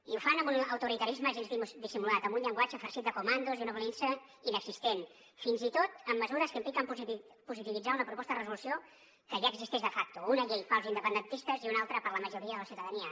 i ho fan amb un autoritarisme gens dissimulat amb un llenguatge farcit de comandos i una violència inexistent fins i tot amb mesures que impliquen positivitzar una proposta de resolució que ja existeix de facto una llei per als independentistes i una altra per a la majoria de la ciutadania